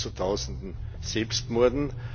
Es kommt zu Tausenden Selbstmorden.